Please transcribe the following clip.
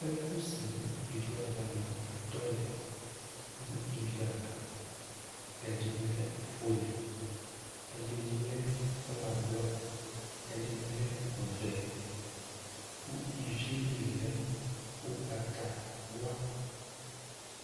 Ɛkʋ sɛ nʋ ívì ava ni atɔ lɛ nʋ ívì ava Ɛdiní lɛ ɔfʋele, ɛdiní kɔɔla blɔ, ɛdiní ɔvɛ kʋ ívì ye li lɛ ugbatawla